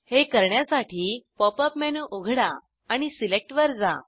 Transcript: हे करण्यासाठी pop up menu उघडा आणि सिलेक्ट वर जा